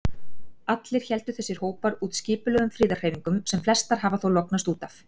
Allir héldu þessir hópar úti skipulögðum friðarhreyfingum, sem flestar hafa þó lognast út af.